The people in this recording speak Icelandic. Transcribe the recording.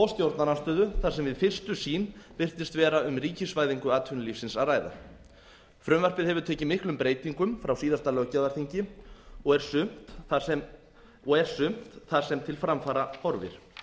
stjórnarandstöðu þar sem við fyrstu sýn virtist vera um ríkisvæðingu atvinnulífsins að ræða frumvarpið hefur tekið miklum breytingum frá síðasta löggjafarþingi og er sumt þar sem til framfara horfir